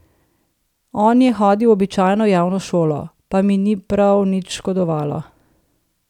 On je hodil v običajno javno šolo: 'Pa mi ni prav nič škodovalo.